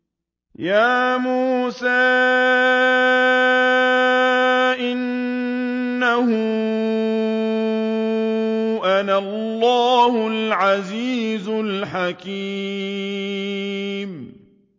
يَا مُوسَىٰ إِنَّهُ أَنَا اللَّهُ الْعَزِيزُ الْحَكِيمُ